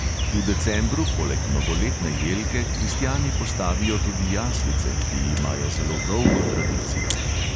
V decembru poleg novoletne jelke kristjani postavijo tudi jaslice, ki imajo zelo dolgo tradicijo.